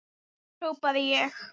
hrópaði ég.